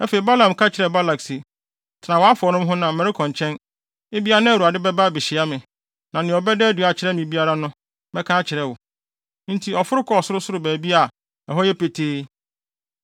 Afei Balaam ka kyerɛɛ Balak se, “Tena wʼafɔre no ho na merekɔ nkyɛn. Ebia na Awurade bɛba abehyia me, na nea ɔbɛda no adi akyerɛ me biara no mɛka akyerɛ wo.” Enti, ɔforo kɔɔ sorosoro baabi a ɛhɔ yɛ petee.